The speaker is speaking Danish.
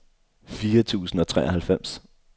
firs tusind og treoghalvfems